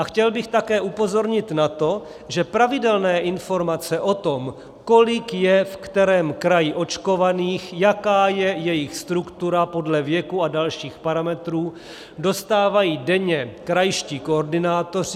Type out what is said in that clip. A chtěl bych také upozornit na to, že pravidelné informace o tom, kolik je v kterém kraji očkovaných, jaká je jejich struktura podle věku a dalších parametrů, dostávají denně krajští koordinátoři.